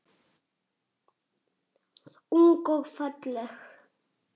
Ung og falleg.